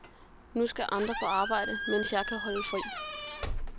Nu skal andre på arbejde, mens jeg kan holde fri.